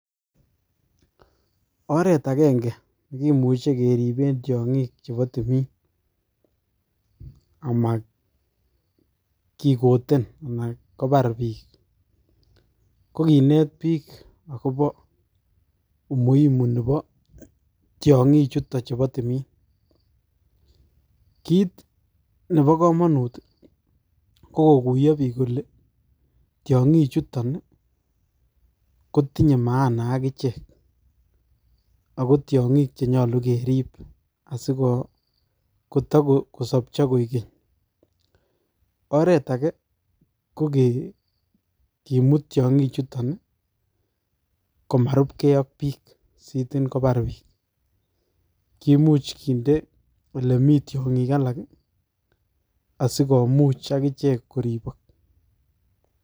Oret ageng'e nekimuche keripen tiong'ik chepo timin ama kigoten ana kopar piik ko kinet piik akobo umuhimu nebo tiongichuton chepo timin. Kiit nebo komonut ko kokuyo piik kole tiong'ichuton , kotinye maana akichek. Ako tiong'ik chenyolu kerip asikotakosopcho koik keny. Oret age ko kimut tiong'ik chuton komarupkei ak piik sitin komapar piik. Kimuch kinde ole mii tiong'ik alak ii asikomuch agichek koripok.